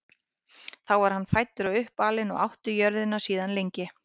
þar var hann fæddur og uppalinn og átti jörðina síðan lengi